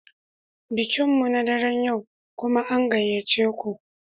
Bikin mu na daren yau, kuma an gayyace ku